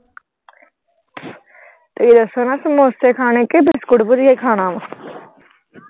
ਤੁਸੀਂ ਦੱਸੋ ਨਾ ਸਮੋਸੇ ਖਾਣੇ ਕੇ ਬਿਸਕੁਟ ਭੁਜੀਆ ਖਾਣਾ ਵਾ।